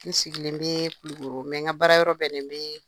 N sigilen bɛ Kulukoro n ka baara yɔrɔ bɛnnen bɛ